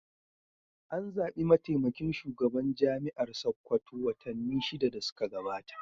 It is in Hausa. An zaɓi mataimakin shugaban Jami'ar Sakkwato watanni shida da suka gabata.